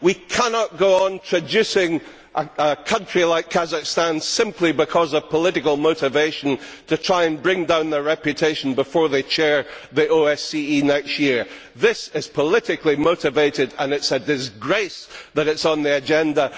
We cannot go on traducing a country like Kazakhstan, simply because of political motivation, to try and bring down their reputation before they chair the OSCE next year. This is politically motivated, and it is a disgrace that it is on the agenda.